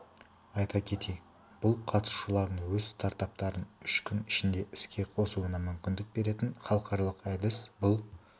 айта кетейік бұл қатысушылардың өз стартаптарын үш күн ішінде іске қосуына мүмкіндік беретін халықаралық әдіс бұл